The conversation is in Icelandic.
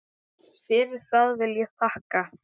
Fyrir það vil ég þakka.